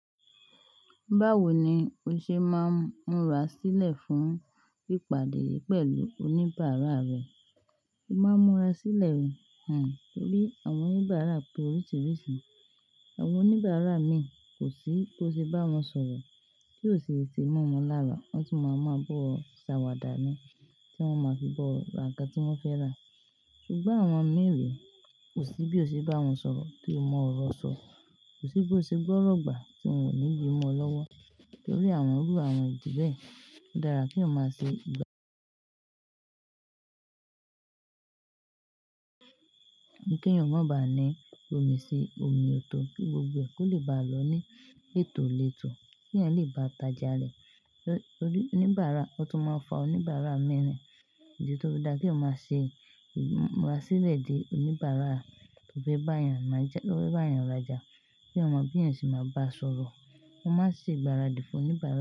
Báwo ni o ṣe máa ń múra sílẹ̀ fún ìpàdé pẹ̀lú oníbàárà rẹ? O máa ń múra sílẹ̀ torí àwọn oníbàárà pé oríṣiríṣi. Àwọn oníbàárà mi kò sí bí o ṣe bá wọn sọ̀rọ̀ kí ó ṣe ti mọ́ wọn lára. Wọ́n tun máa mọ ba o ṣe àwàdà ni tí wọ́n maa fi ba ọ ra nkan tí wọ́n fẹ́ rà. Ṣùgbọ́n àwọn miran kò sí bí o ṣe bá wọn sọ̀rọ̀ tí o mọ ọ̀rọ̀ sọ. Kò sí bí o ṣe gbọ́ ọ̀rọ̀ gbà tí wọn ò ní yí ọ lọ́wọ́ torí àwọn irú àwọn ìdí bẹ́ẹ̀. Ó dára kí o má ṣe gbá kí eyan maa ba ni gbomi sí omi ọ̀tò kí gbogbo ẹ ko lè bá a lọ ní ètò le tò. Kí eyan lè bá ta ojà rẹ̀. Oníbàárà, ó tún máa ń fa oníbàárà miran ni. Ìdí tí ó dára kí o má ṣe múra sílẹ̀ di oníbàárà, ti o te bá èèyàn ra oja, kí èèyàn mo bi eyan se máa bá sọ̀rọ̀. Mo máa ń ṣe ìgbáradì fún oníbàárà.